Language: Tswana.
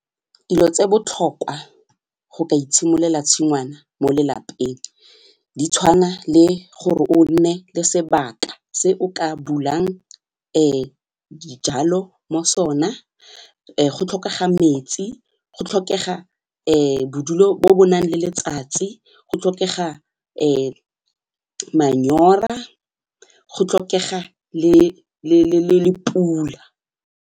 Dilo tse botlhokwa go ka itshimololela tshingwana mo lelapeng ditshwana le gore o nne le sebaka se o ka bulang dijalo mo sona, go tlhokega metsi, go tlhokega bodulo bo bo nang le letsatsi, go tlhokega manyora, go tlhokega le pula.